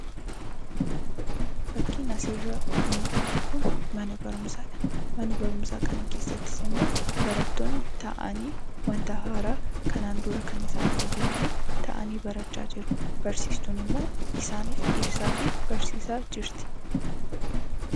Fakkiin asirraa mul'atu kun mana barumsaa dha. Mana barumsaa kana keessattis immoo barattoonni taa'anii wanta haaraa kanaan dura kan isaan hin beekne taa'anii barachaa jiru. Barsiistuun immoo isaaniif ibsaa fi barsiisaa jirti.